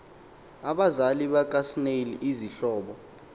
abazali bakasnail izihlobo